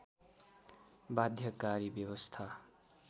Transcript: बाध्यकारी व्यवस्था